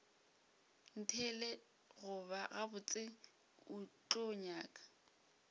ntheelet gabotse o tlo nyaka